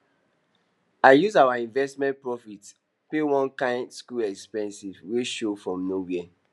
i use our investment profit pay one kain school expense wey show from nowhere